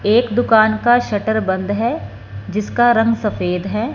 एक दुकान का शटर बंद है जिसका रंग सफेद है।